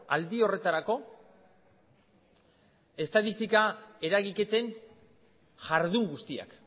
aldi horretarako estatistika eragiketen jardun guztiak